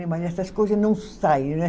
É, mas essas coisa não saem, né?